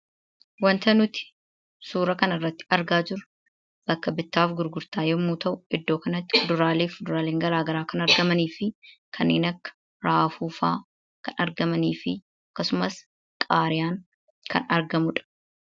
Wanti nuti suuraa kanarratti argaa jirru bakka bittaaf gurgurtaa yommuu ta'u, iddoo kanatti kuduraaleefi fuduraaleen gara garaa kan argamanii fi kanneen akka raafuu fa'a kan argamanii fi akkasumas qaaraan kan argamudha.